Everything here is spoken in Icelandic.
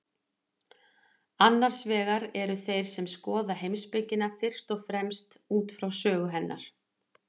Annars vegar eru þeir sem skoða heimspekina fyrst og fremst út frá sögu hennar.